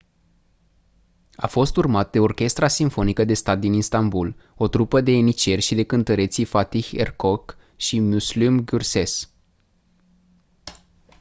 a fost urmat de orchestra simfonică de stat din istanbul o trupă de ieniceri și de cântăreții fatih erkoç și müslüm gürses